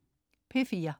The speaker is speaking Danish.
P4: